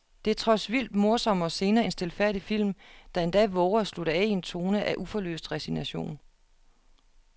Det er trods vildt morsomme scener en stilfærdig film, der endda vover at slutte af i en tone af uforløst resignation.